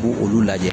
Ko olu lajɛ